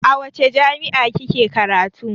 A wace jami'a kike karatu?